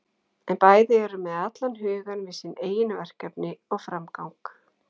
En bæði eru með allan hugann við sín eigin verkefni og framgang.